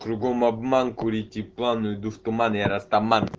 кругом обман курите план уйду в туман я растаман